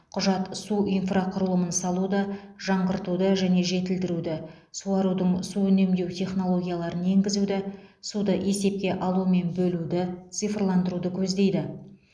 құжат су инфрақұрылымын салуды жаңғыртуды және жетілдіруді суарудың су үнемдеу технологияларын енгізуді суды есепке алу мен бөлуді цифрландыруды көздейді